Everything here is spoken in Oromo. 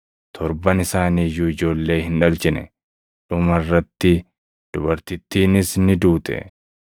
Torban isaanii iyyuu ijoollee hin dhalchine. Dhuma irratti dubartittiinis ni duute.